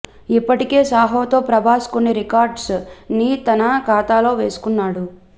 ఇప్పటికే సాహోతో ప్రభాస్ కొన్ని రికార్డ్స్ ని తన ఖాతాలో వేసుకున్నాడు